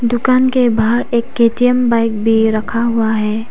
दुकान के बाहर एक के_टी_एम बाइक भी रखा हुआ है।